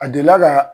A delila ka